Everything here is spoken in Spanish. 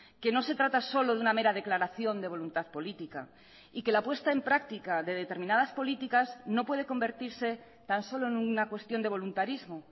que no se trata solo de una mera declaración de voluntad política y que la apuesta en práctica de determinadas políticas no puede convertirse tan solo en una cuestión de voluntarismo